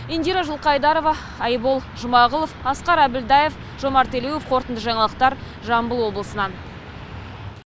индира жылқайдарова айбол жұмағұлов асқар әбілдаев жомарт елеуов қорытынды жаңалықтар жамбыл облысынан